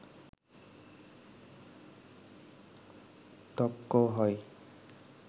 ত্বকও হয়